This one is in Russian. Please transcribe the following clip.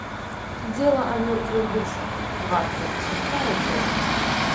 дело о мертвых душах двадцать шестая часть